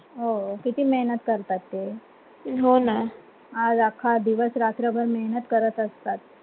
हो किती मेहनत करतात ते हो ना. आज अख्खा दिवस रात्रभर मेहनत करत असतात.